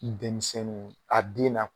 I denmisɛnnunw a den na